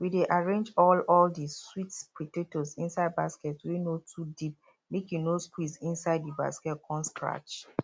we dey arrange all all de sweet potato inside basket wey no too deep make e no squeeze inside the basket con scratch